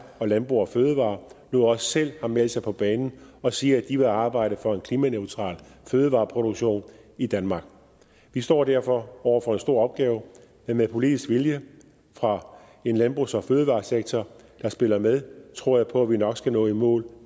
og landbrug fødevarer nu også selv har meldt sig på banen og siger at de vil arbejde for en klimaneutral fødevareproduktion i danmark vi står derfor over for en stor opgave men med politisk vilje fra en landbrugs og fødevaresektor der spiller med tror jeg på at vi nok skal nå i mål